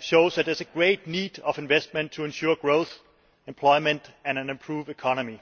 shows that there is a great need for investment to ensure growth, employment and an improved economy.